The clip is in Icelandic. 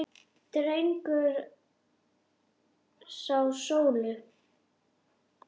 Dregur frá sólu.